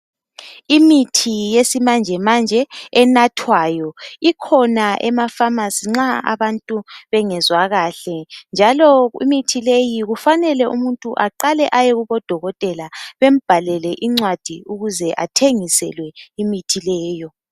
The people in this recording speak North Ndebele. Imithi yesimanjemanje enathwayo ikhona emafamasi nxa abantu bengazwa kahle. Njalo imithi leyi kufanele umuntu aqale ayekubodokotela bambhalele incwadi ukuze athengiselwe imithi leyo.